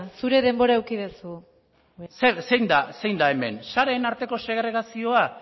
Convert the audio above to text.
zure denbora eduki duzu zein da hemen sareen arteko segregazioa